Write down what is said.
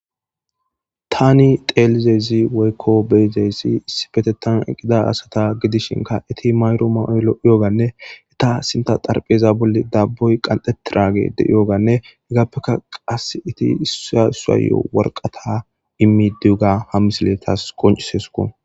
tani xelizezi woykko beyzeyssi issibetetan eqida asata gidishinka eti mayro ma7olo yooganne eta sinta xarpheza bolli dabboy qanxetiragede yooganne heggaappeka qas iti issasayo worqata immi duuga ha misile taas qoncisesuko